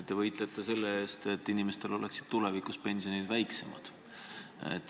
Te võitlete selle eest, et inimestel oleksid tulevikus pensionid väiksemad.